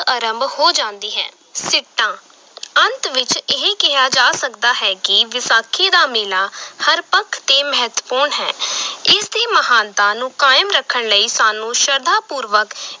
ਅਰੰਭ ਹੋ ਜਾਂਦੀ ਹੈ ਸਿੱਟਾ ਅੰਤ ਵਿਚ ਇਹ ਕਿਹਾ ਜਾ ਸਕਦਾ ਹੈ ਕਿ ਵਿਸਾਖੀ ਦਾ ਮੇਲਾ ਹਰ ਪੱਖ ਤੇ ਮਹੱਤਵਪੂਰਨ ਹੈ ਇਸ ਦੀ ਮਹਾਨਤਾ ਨੂੰ ਕਾਇਮ ਰੱਖਣ ਲਈ ਸਾਨੂੰ ਸ਼ਰਧਾ-ਪੂਰਵਕ